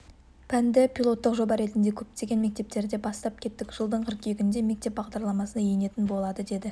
пәнді пилоттық жоба ретінде көптеген мектептерде бастап кеттік жылдың қыркүйегінде мектеп бағдарламасына енетін болады деді